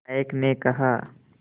नायक ने कहा